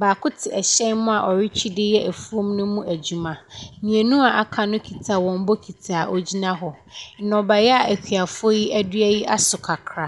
baako te ɛhyɛn mu a ɔretwi de yɛ afuo no mu adwuma, mmienu a aka no kita wɔn bokiti a ɔgyina hɔ. Nnɔbaeɛ a akuafoɔ yi adua yi aso kakra.